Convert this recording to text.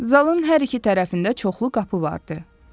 Zalın hər iki tərəfində çoxlu qapı vardı.